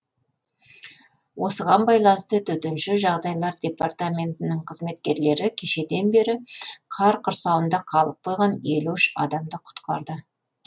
осыған байланысты төтенше жағдайлар департаментінің қызметкерлері кешеден бері қар құрсауында қалып қойған елу үш адамды құтқарды